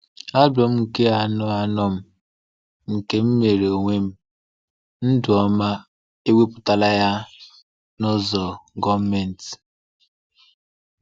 Álùbọ́m m̀ nke anọ anọ m̀ nke m mere onwe m, “Ndụ Ọ́ma,” ewepụtala ya n’ụzọ gọọmentị.